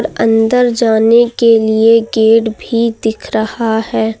अंदर जाने के लिए गेड भी दिख रहा है।